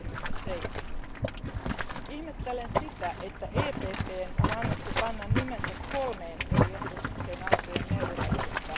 67. Ihmettelen sitä, että PPE ryhmän on annettu panna nimensä kolmeen eri ehdotukseen autojen melurajoista.